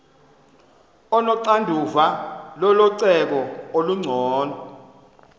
onoxanduva lococeko olungcono